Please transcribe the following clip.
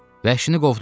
Vəhşini qovdum.